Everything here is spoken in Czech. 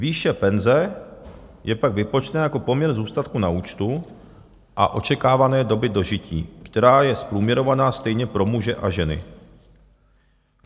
Výše penze je pak vypočtena jako poměr zůstatku na účtu a očekávané doby dožití, která je zprůměrovaná stejně pro muže a ženy.